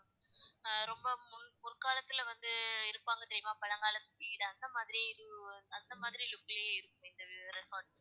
ஆஹ் ரொம்ப முற்காலத்துல வந்து இருப்பாங்க தெரியுமா பழங்காலத்துல அந்த மாதிரி ஒரு அந்த மாதிரி ஒரு look லையே இருக்கும் அந்த resort.